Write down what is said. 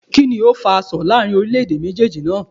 Kíni o fa asọ̀ láàrin orílé èdè méjéèjì naa?